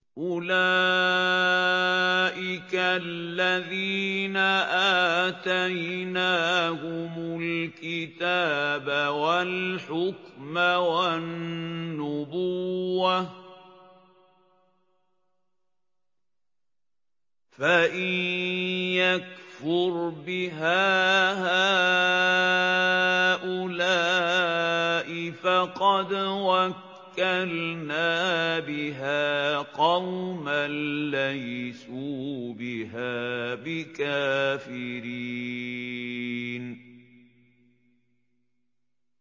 أُولَٰئِكَ الَّذِينَ آتَيْنَاهُمُ الْكِتَابَ وَالْحُكْمَ وَالنُّبُوَّةَ ۚ فَإِن يَكْفُرْ بِهَا هَٰؤُلَاءِ فَقَدْ وَكَّلْنَا بِهَا قَوْمًا لَّيْسُوا بِهَا بِكَافِرِينَ